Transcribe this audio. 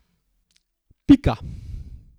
Pika.